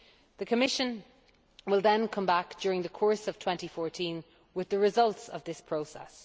The Commission will then come back during the course of 2014 with the results of this process.